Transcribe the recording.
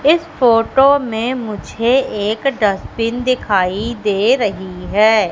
इस फोटो मे मुझे एक डस्टबीन दिखाई दे रही है।